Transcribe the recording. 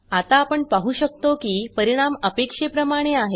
आता आपण पाहु शकतो की परिणाम अपेक्षेप्रमाणे आहे